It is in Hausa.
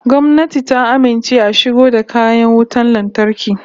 Gwamnati ta amince a shigo da kayan wutan lantarki